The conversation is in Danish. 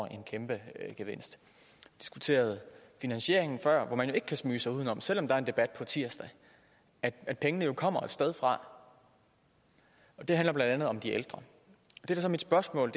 en kæmpe gevinst vi diskuterede finansieringen før og man kan ikke snige sig uden om selv om der er en debat på tirsdag at pengene jo kommer et sted fra og det handler blandt andet om de ældre det mit spørgsmål